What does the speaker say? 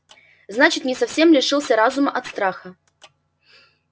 значит не совсем лишился разума от страха